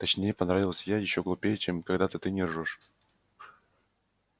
точнее поправилась я ещё глупее чем когда-то ты не ржёшь